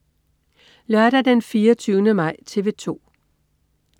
Lørdag den 24. maj - TV 2: